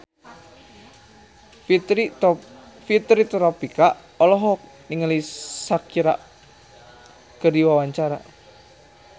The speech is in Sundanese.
Fitri Tropika olohok ningali Shakira keur diwawancara